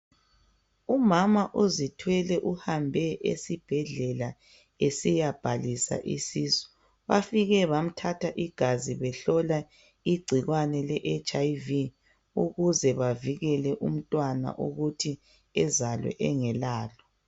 Umama uzithwele uhambe esibhedlela esiyabhalisa isisu. Bafike bamthatha igazi. Behlola igcikwane leHIv. Ukuze bavikele umntwana ukuthi ezalwe engalalo.